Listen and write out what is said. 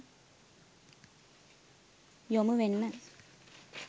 යොමුවෙන්න